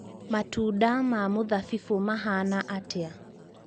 matũnda ma mũthabibũ mahana atĩa